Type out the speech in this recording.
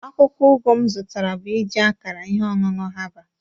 Akwụkwọ ugu m zụtara bụ iji akara ihe ọṅụṅụ herbal